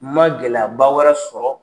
Ma gɛlɛyaba wɛrɛ sɔrɔ